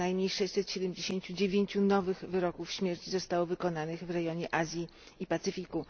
co najmniej 679 nowych wyroków śmierci zostało wykonanych w rejonie Azji i Pacyfiku.